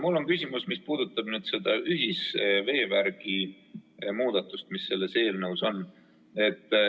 Mul on küsimus, mis puudutab ühisveevärgi muudatust, mis selles eelnõus on.